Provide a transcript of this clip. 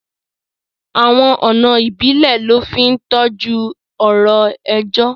Awọn ọna ìbílẹ̀ lọ fi ntoju ọ̀rọ̀ èjọ.